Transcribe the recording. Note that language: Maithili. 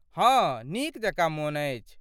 हाँ, नीक जकाँ मोन अछि।